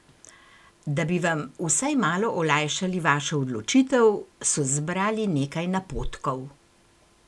Da bi vam vsaj malo olajšali vašo odločitev, so zbrali nekaj napotkov.